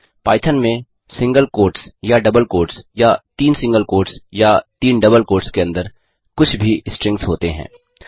Python में single quotes या double quotes या तीन सिंगल कोट्स या तीन डबल कोट्स के अंदर कुछ भी स्ट्रिंग्स होते हैं